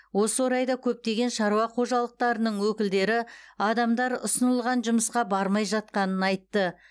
осы орайда көптеген шаруа қожалықтарының өкілдері адамдар ұсынылған жұмысқа бармай жатқанын айтты